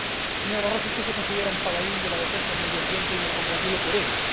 Señor Barroso, usted se considera un paladín de la defensa del medio ambiente, y me congratulo por ello.